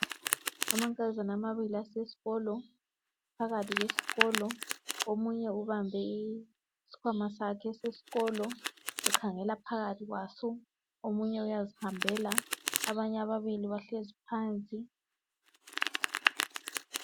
Amankazana amabili asesikolo, phakathi kwesikolo omunye ubambe isikhwama sakhe sesikolo ukhangela phakathi kwaso omunye uyazihambela, abanye ababili bahlezi phansi.